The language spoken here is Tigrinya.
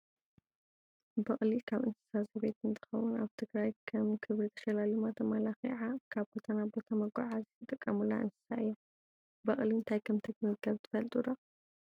በቅሊ ካብ እንስሳ ዘቤት እንትከውን፣ ኣብ ትግራይ ከም ክብሪ ተሸላሊማ ተማላኪዓ ካብ ቦታ ናብ ቦታ መጓዓዓዚ ዝጥቀሙላ እንስሳ እያ። በቅሊ እንታይ ከምትምገብ ትፈልጡ ዶ ?